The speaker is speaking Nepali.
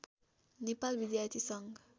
नेपाल विद्यार्थी सङ्घ